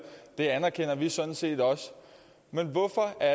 det anerkender vi sådan set også men hvorfor er